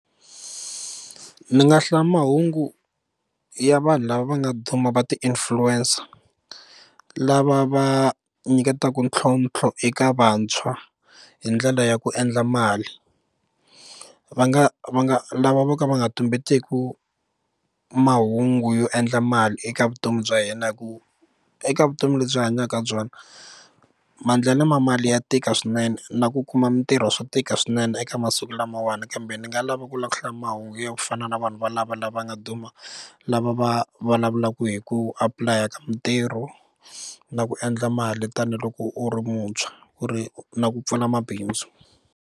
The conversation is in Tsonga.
Ni nga hlaya mahungu ya vanhu lava va nga duma va ti influencer lava va nyiketaka ntlhontlho eka vantshwa hi ndlela ya ku endla mali va nga va nga lava vo ka va nga tumbeteku mahungu yo endla mali eka vutomi bya hina hi ku eka vutomi lebyi hanyaka byona maendlelo ma mali ya tika swinene na ku kuma mitirho swa tika swinene eka masiku lamawani kambe ni nga lava ku hlaya mahungu ya ku fana na vanhu valavo lava nga duma lava va vulavulaka hi ku apply ka mitirho na ku endla mali tanihiloko u ri muntshwa ku ri na ku pfula mabindzu.